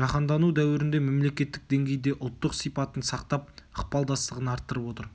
жаһандану дәуірінде мемлекеттік деңгейде ұлттық сипатын сақтап ықпалдастығын арттырып отыр